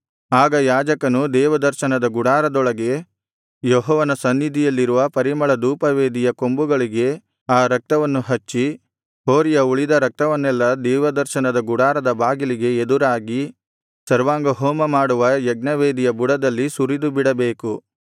ಆಗ ಯಾಜಕನು ದೇವದರ್ಶನದ ಗುಡಾರದೊಳಗೆ ಯೆಹೋವನ ಸನ್ನಿಧಿಯಲ್ಲಿರುವ ಪರಿಮಳಧೂಪವೇದಿಯ ಕೊಂಬುಗಳಿಗೆ ಆ ರಕ್ತವನ್ನು ಹಚ್ಚಿ ಹೋರಿಯ ಉಳಿದ ರಕ್ತವನ್ನೆಲ್ಲಾ ದೇವದರ್ಶನದ ಗುಡಾರದ ಬಾಗಿಲಿಗೆ ಎದುರಾಗಿ ಸರ್ವಾಂಗಹೋಮಮಾಡುವ ಯಜ್ಞವೇದಿಯ ಬುಡದಲ್ಲಿ ಸುರಿದುಬಿಡಬೇಕು